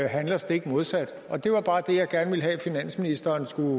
handler stik modsat det var bare det jeg gerne ville have at finansministeren skulle